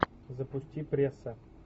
запусти пресса